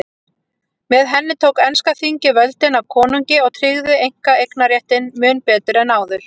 Með henni tók enska þingið völdin af konungi og tryggði einkaeignarréttinn mun betur en áður.